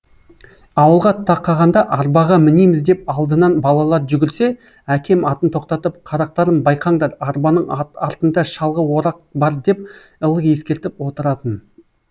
ауылға тақағанда арбаға мінеміз деп алдынан балалар жүгірсе әкем атын тоқтатып қарақтарым байқаңдар арбаның артында шалғы орақ бар деп ылғи ескертіп отыратын